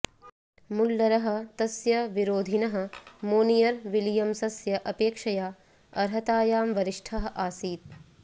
मुल्लरः तस्य विरोधिनः मोनियर् विलियम्सस्य अपेक्षया अर्हतायां वरिष्ठः आसीत्